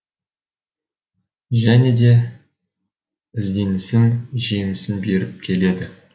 және де ізденісім жемісін беріп келеді